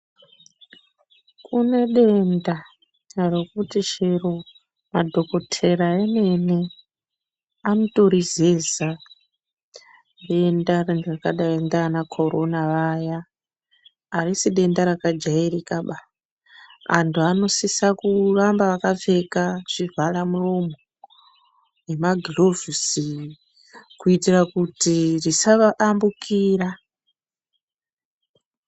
Kune denda rokuti chero madhokotera emene anotorizeza. Denda ranga rakadai ndiana khorona vaya arisei denda rakajairikaba. Antu anosisa kuramba vakapfeka zvivhara muromo nemagirovhusi kuitira kuti risa vayambukira.